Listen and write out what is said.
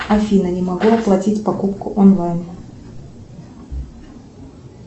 афина не могу оплатить покупку онлайн